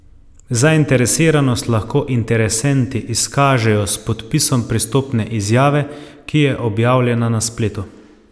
Zainteresiranost lahko interesenti izkažejo s podpisom pristopne izjave, ki je objavljena na spletu.